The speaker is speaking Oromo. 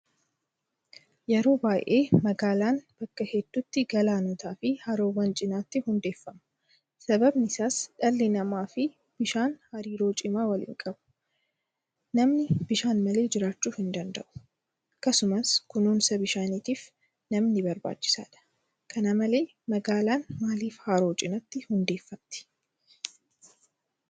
Yeroo baay'ee magaalaan bakka hedduutti galaanotaafi haroowwan cinaatti hundeeffamu. Sababni isaas dhalli namaafi Bishaan hariiroo cimaa waliin qabu. Namni Bishaan malee jiraachuu hindanda'u. Akkasumas kunuunsa bishaaniitiif namni barbaachisaadha. Kana malee magaalaan maaliif Haroo cinaatti hundeeffamti?